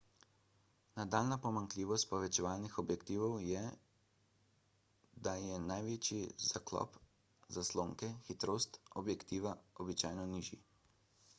nadaljnja pomanjkljivost povečevalnih objektivov je da je največji zaklop zaslonke hitrost objektiva običajno nižji